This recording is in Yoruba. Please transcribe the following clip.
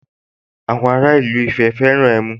Àwọn ara ìlú Ifẹ̀ fẹ́ràn ẹmu